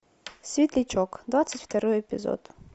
светлячок двадцать второй эпизод